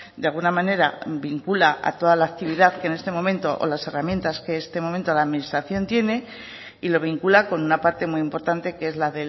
de alguna manera vincula a toda la actividad que en este momento o las herramientas que en este momento la administración tiene y lo vincula con una parte muy importante que es la